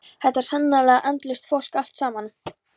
Þetta er sannarlega andlaust fólk allt saman.